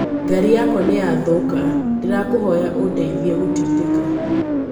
Gari yakwa nĩ ya thũũka, ndĩrakũhoya ũndeithie gũtindĩka.